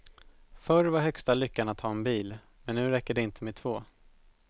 Förr var högsta lyckan att ha en bil, men nu räcker det inte med två.